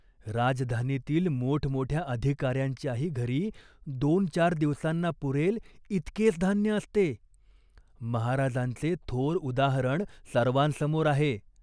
राजधानीतील मोठमोठ्या अधिकाऱ्यांच्याही घरी दोन चार दिवसांना पुरेल इतकेच धान्य असते. महाराजांचे थोर उदाहरण सर्वांसमोर आहे.